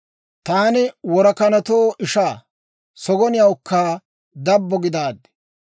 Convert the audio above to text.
Taani worakanatoo ishaa, sagoniyawukka dabbo gidaaddi.